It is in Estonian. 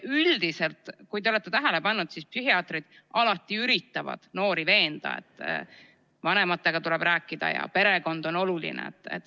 Üldiselt on nii, kui te olete tähele pannud, et psühhiaatrid alati üritavad noori veenda, et vanematega tuleb rääkida ja perekond on oluline.